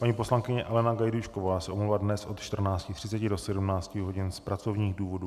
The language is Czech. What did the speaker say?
Paní poslankyně Alena Gajdůšková se omlouvá dnes od 14.30 do 17 hodin z pracovních důvodů.